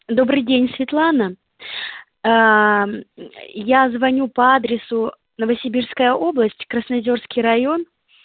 добрый день светлана аа я звоню по адресу новосибирская область красноозерский район